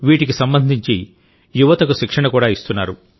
వీటికి సంబంధించి యువతకు శిక్షణ కూడా ఇస్తున్నారు